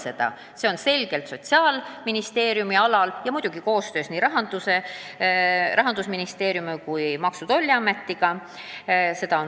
Selle teema on selgelt Sotsiaalministeeriumi pädevuses, aga muidugi on ministeerium seda ette valmistanud koostöös nii Rahandusministeeriumiga kui ka Maksu- ja Tolliametiga.